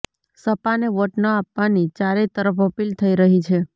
સપાને vote ન આપવાની ચારેય તરફ અપીલ થઇ રહી છે